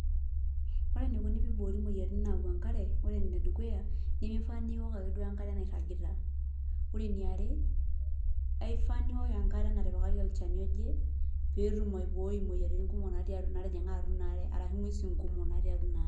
Ore enikuni piboori moyiaritin naau enkare, ore enedukuya, nimifaa niwok ake duo enkare nairragita. Ore eniare, aifaa niwok enkare natipikaki olchani oje, petum aibooi imoyiaritin kumok natii atua natijing'a atua inaare, arashu ng'uesin kumok atii atua inaare.